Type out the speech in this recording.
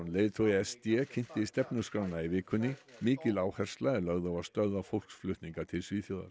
leiðtogi s d kynnti stefnuskrána í vikunni mikil áhersla er lögð á að stöðva fólksflutninga til Svíþjóðar